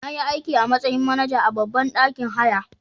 Nayi aiki a matsayin manaja a babban ɗakin haya.